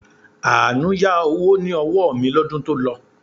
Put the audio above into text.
Àánú yá owó ní ọwọ́ mi lọ́dún to lọ